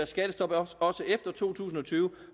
skattestop også efter to tusind og tyve